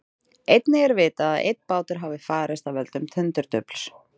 Einnig er vitað að einn bátur hafi farist af völdum tundurdufls.